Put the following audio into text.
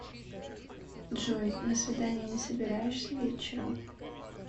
джой на свидание не собираешься вечером